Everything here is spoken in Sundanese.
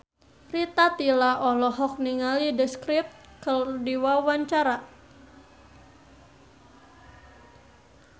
Rita Tila olohok ningali The Script keur diwawancara